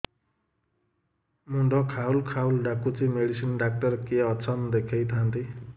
ମୁଣ୍ଡ ଖାଉଲ୍ ଖାଉଲ୍ ଡାକୁଚି ମେଡିସିନ ଡାକ୍ତର କିଏ ଅଛନ୍ ଦେଖେଇ ଥାନ୍ତି